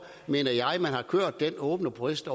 mener jeg at man har kørt den åbne proces det